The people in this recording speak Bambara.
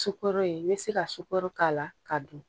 Sukoroye i bɛ se ka sukoro k'a la ka dun